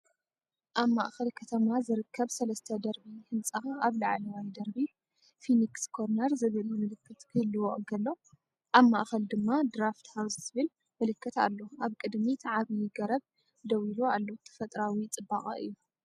ኣብ ማእከል ከተማ ዝርከብ ሰለስተ ደርቢ ህንጻ ኣብ ላዕለዋይ ደርቢ 'ፊኒክስ ኮርነር' ዝብል ምልክት ክህልዎ እንከሎ፡ ኣብ ማእከል ድማ 'ድራፍት ሃውስ' ዝብል ምልክት ኣሎ። ኣብ ቅድሚት ዓቢ ገረብ ደው ኢሉ ኣሎ፡ ተፈጥሮኣዊ ጽባቐ'ዩ።